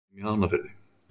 Hún á heima í Hafnarfirði.